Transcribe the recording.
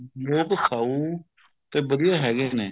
ਲੋਕ ਸਾਊ ਤੇ ਵਧੀਆ ਹੈਗੇ ਨੇ